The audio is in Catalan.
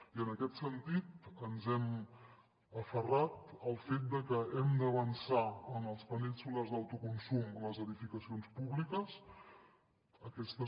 i en aquest sentit ens hem aferrat al fet de que hem d’avançar en els panells solars d’autoconsum en les edificacions públiques aquestes